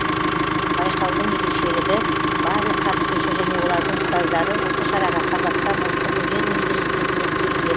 байқаудың ерекшілігі барлық қатысушы және олардың ұстаздары осы шараға қазақстан ұлттық өнер университетінен келген